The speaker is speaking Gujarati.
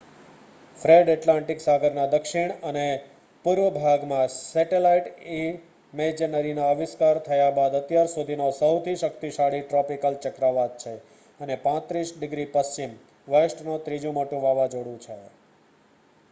ફ્રેડ એટલાન્ટિક સાગરના દક્ષિણ અને પૂર્વ ભાગમાં સેટલાઈટ ઈમેજરીના આવિષ્કાર થયા બાદ અત્યાર સુધીનો સહુથી શક્તિશાળી ટ્રોપિકલ ચક્રવાત છે અને 35 ડિગ્રી પશ્ચિમ w નો ત્રીજુ મોટુ વાવાજોડુ છે